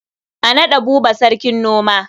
A naɗa Buba sarkin noma.